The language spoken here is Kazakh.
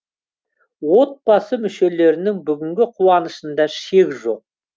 отбасы мүшелерінің бүгінгі қуанышында шек жоқ